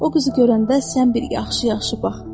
O qızı görəndə sən bir yaxşı-yaxşı bax.